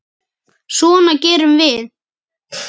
Svona gerum við.